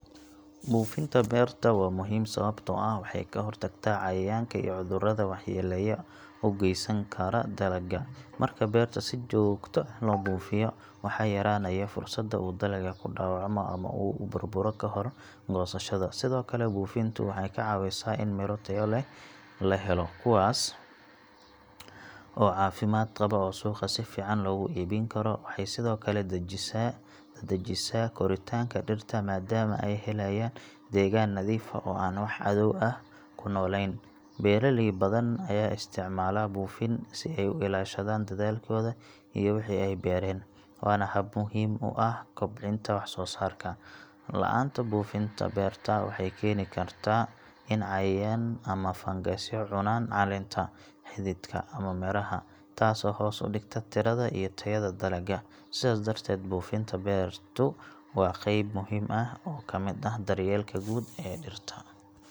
Buufinta beerta waa muhiim sababtoo ah waxay ka hortagtaa cayayaanka iyo cudurrada waxyeellada u geysan kara dalagga. Marka beerta si joogto ah loo buufiyo, waxaa yaraanaya fursadda uu dalagga ku dhaawacmo ama uu u burburo kahor goosashada. Sidoo kale buufintu waxay ka caawisaa in miro tayo leh la helo, kuwaas oo caafimaad qaba oo suuqa si fiican loogu iibin karo. Waxay sidoo kale dedejisaa koritaanka dhirta maadaama ay helayaan deegaan nadiif ah oo aan wax cadow ah ku noolayn. Beeraley badan ayaa isticmaala buufin si ay u ilaashadaan dadaalkooda iyo wixii ay beereen, waana hab muhiim u ah kobcinta wax-soosaarka. La’aanta buufinta beerta waxay keeni kartaa in cayayaan ama fangasyo cunaan caleenta, xididka, ama midhaha, taasoo hoos u dhigta tirada iyo tayada dalagga. Sidaas darteed, buufinta beertu waa qayb muhiim ah oo ka mid ah daryeelka guud ee dhirta.